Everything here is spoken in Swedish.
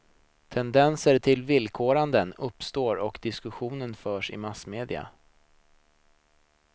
Tendenser till villkoranden uppstår och diskussionen förs i massmedierna.